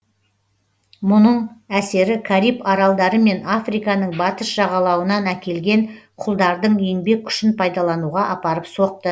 бұның әсері кариб аралдары мен африканың батыс жағалуынан әкелген құлдардың еңбек күшін пайдалануға апарып соқты